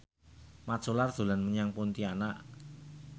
Mat Solar dolan menyang Pontianak